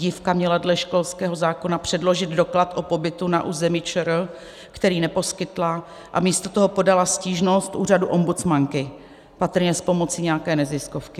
Dívka měla dle školského zákona předložit doklad o pobytu na území ČR, který neposkytla, a místo toho podala stížnost úřadu ombudsmanky, patrně s pomocí nějaké neziskovky.